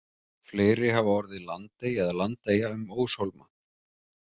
Fleiri hafa orðið landey eða landeyja um óshólma.